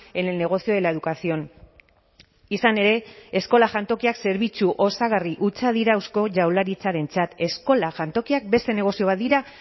en el negocio de la educación izan ere eskola jantokiak zerbitzu osagarri hutsa dira eusko jaurlaritzarentzat eskola jantokiak beste negozio bat dira